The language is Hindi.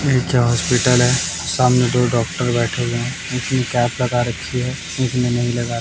नीचे हॉस्पिटल है सामने दो डॉक्टर बैठे हुए हैं एक ने कैप लगा रखी है एक ने नहीं लगा--